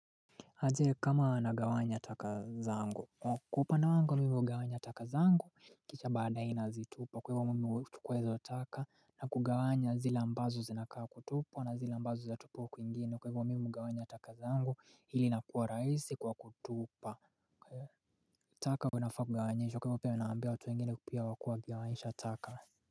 Aje kama anagawanya taka zangu. Kupa na wangu wa mimu wa gawanya taka zangu kicha baada inazitupa. Kwa hivyo wa Mimi wa tukuezo taka na kugawanya zila ambazo zinakaa kutupa na zila ambazo zatupo kuingine. Kwa hivyo wa mimi wa gawanya taka zangu hili nakua raihisi kwa kutupa. Kwa taka winafaa kugawanyisha. Kwa hivyo pia nawaambia watu wengine kupia wakua giawaisha taka.